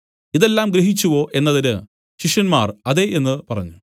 ഇതെല്ലാം ഗ്രഹിച്ചുവോ എന്നതിന് ശിഷ്യന്മാർ അതെ എന്നു പറഞ്ഞു